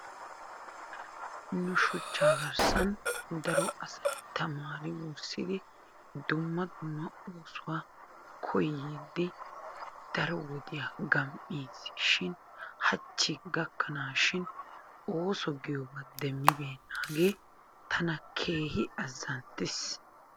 Nu shuchchaa garssan daro asayi tamaari wurssidi dumma dumma oosuwa koyyiiddi daro wodiya gamm"is shin hachchi gakkanaashin ooso giyoba demmibeennaagee tana keehi azzanttes.